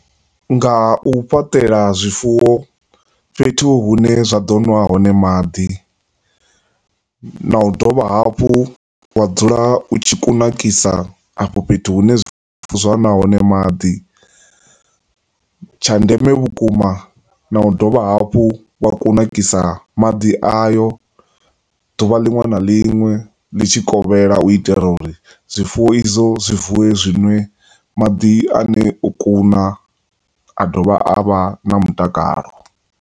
Ngau fhaṱela zwifuwo fhethu hune zwa ḓo nwa hone maḓi, na u dovha hafhu wa dzula u tshi kunakisa afho fhethu hu ne zwifuwo zwa nwa hone maḓi. Tsha ndeme vhukuma na u dovha hafhu wa kunakisa maḓi ayo ḓuvha linwe na linwe litshikovhela u itela uri zwifuwo izwo zwi vuwe zwi nwe maḓi ane o kuna a dovha a vha na mutakalo.